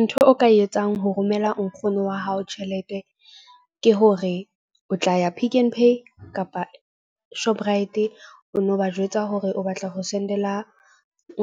Ntho o ka e etsang ho romela nkgono wa hao tjhelete. Ke hore o tla ya Pick n Pay kapa Shoprite. O no ba jwetsa hore o batla ho send-ela